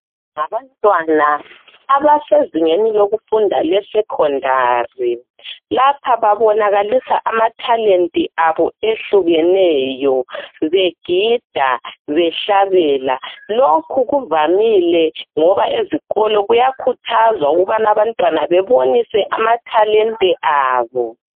Ngabantwana abasezingeni lokufunda lesecondary lapha babonakalisa amathalente abo ahlukeneyo begida bahlabela lokhu kuvamile ngoba ezikolo kuyakhuthazwa ukubana abantwana bebonise amathalente abo.